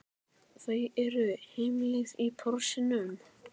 Þau eru á heimleið í Porsinum.